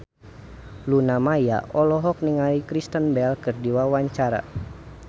Luna Maya olohok ningali Kristen Bell keur diwawancara